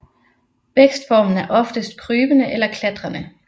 Vækstformen er oftest krybende eller klatrende